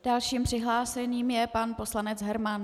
Dalším přihlášeným je pan poslanec Herman.